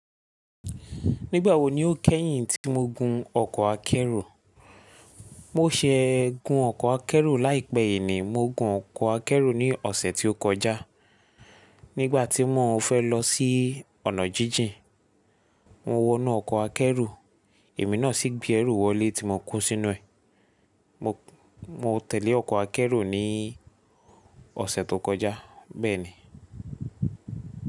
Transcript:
Nígbàwo ni o kẹ́yìn tí mo gun ọkọ̀ akẹ́rù? Mo ṣẹ gun ọkọ̀ akẹ́rù láìpẹ́ yìí ni, mo gun ọkọ̀ akẹ́rù ní ọ̀sẹ̀ tí ó kọjá. Nígbà tí mò ń fẹ́ lọ sí ọ̀nà jíjìn, mo wọnú ọkọ̀ akẹ́rù, èmi náà sì gbé ẹrú wọlé tí mo kó sínú ẹ̀. Mo, mo tẹ̀lẹ́ ọkọ̀ akẹ́rù ní ọ̀sẹ̀ tó kọjá. Bẹ́ẹ̀ ni.